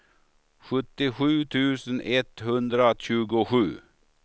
sjuttiosju tusen etthundratjugosju